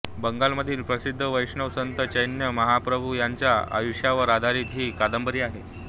बंगालमधील प्रसिद्ध वैष्णव संत चैतन्य महाप्रभु यांच्या आयुष्यावर आधारित ही कादंबरी आहे